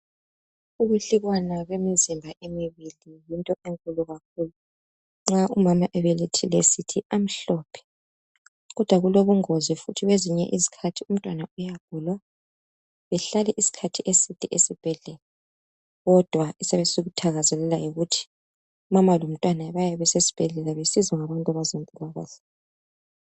Ukwehlukana kwemizimba emibili yinto enkulu kakhulu. Nxa umama ebelethile sithi amhlophe, kodwa kulobungozi futhi kwezinye izikhathi umntwana uyagula behlale isikhathi eside esibhedlela kodwa esiyabe sikuthakazelela yikuthi umama lomntwana bayabe besesibhedlela besizwa ngabantu bezempilakahle.